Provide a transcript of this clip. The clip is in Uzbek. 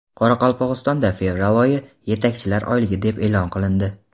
Qoraqalpog‘istonda fevral oyi "Yetakchilar oyligi" deb e’lon qilindi.